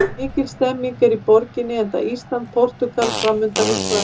Mikil stemning er í borginni enda Ísland- Portúgal framundan í kvöld.